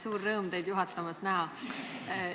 Suur rõõm teid juhatamas näha!